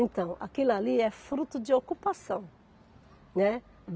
Então, aquilo ali é fruto de ocupação, né.